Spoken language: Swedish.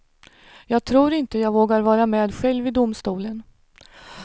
Jag tror inte jag vågar vara med själv i domstolen.